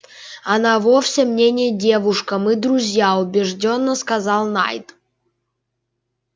она вовсе мне не девушка мы друзья убеждённо сказал найд